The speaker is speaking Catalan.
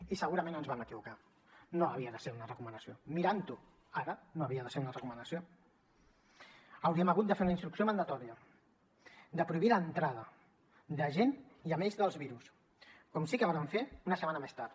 i segurament ens vam equivocar no havia de ser una recomanació mirant ho ara no havia de ser una recomanació hauríem hagut de fer una instrucció mandatària de prohibir l’entrada de gent i amb ells dels virus com sí que ho vàrem fer una setmana més tard